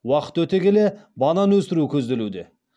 уақыт өте келе банан өсіру көзделуде